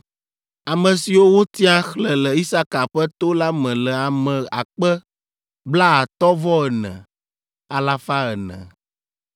Ame siwo wotia, xlẽ le Isaka ƒe to la me le ame akpe blaatɔ̃-vɔ-ene, alafa ene (54,400).